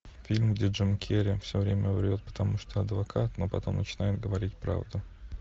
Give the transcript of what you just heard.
фильм где джим керри все время врет потому что адвокат но потом начинает говорить правду